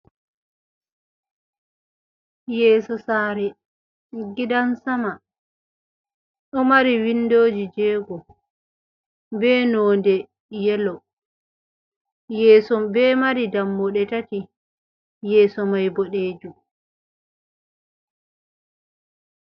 Yeeso sare gidan sama, ɗo mari windoji jego be nonde yelo, yeeso be mari dammuɗe tati, yeeso mai boɗejum.